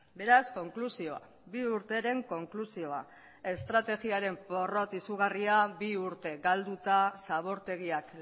beraz konklusioa bi urteren konklusioa estrategiaren porrot izugarria bi urte galduta zabortegiak